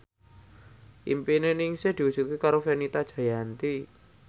impine Ningsih diwujudke karo Fenita Jayanti